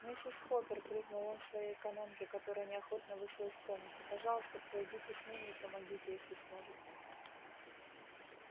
миссис хоппер крикнул он своей экономке которая неохотно вышла из комнаты пожалуйста пройдите с ними и помогите если сможете